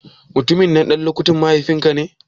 Mutumin nan ɗan lukutin mahaifin ka ne?